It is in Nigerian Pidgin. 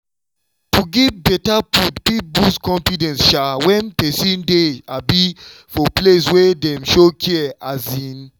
to give better food fit boost confidence um when person dey um for place wey dem show care. um